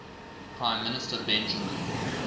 prime minister benjamin